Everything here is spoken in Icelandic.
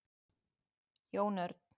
Jón Örn,